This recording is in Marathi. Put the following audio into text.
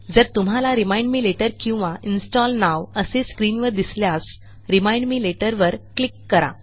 जर तुम्हाला रिमाइंड मे लेटर किंवा इन्स्टॉल nowअसे स्क्रीनवर दिसल्यास रिमाइंड मे लेटर वर क्लिक करा